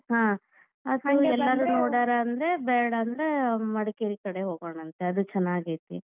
ಹಾ, ನೋಡ್ಯಾರ್ ಅಂದ್ರೆ ಬೇಡಾ ಅಂದ್ರೆ ಮಡಿಕೇರಿ ಕಡೆ ಹೋಗೋಣಂತೆ, ಅದು ಚನ್ನಾಗೈತಿ.